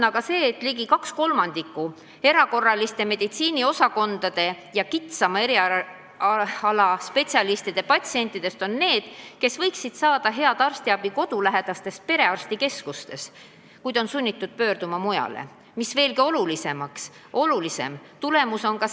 Ligi 2/3 erakorralise meditsiini osakondade ja kitsama eriala spetsialistide patsientidest on inimesed, kes võiksid saada head arstiabi kodulähedases perearstikeskuses, kuid on sunnitud pöörduma mujale, et kõigepealt õige diagnoos saada.